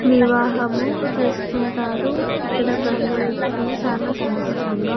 వివాహము చేసుకుంటారు ఇక్కడ బంధుమిత్రులు చాలా సంతోషంగా--